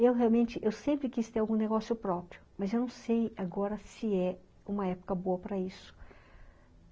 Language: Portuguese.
Eu realmente, eu sempre quis ter algum negócio próprio, mas eu não sei agora se é uma época boa para isso.